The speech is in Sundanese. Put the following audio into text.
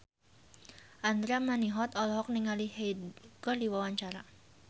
Andra Manihot olohok ningali Hyde keur diwawancara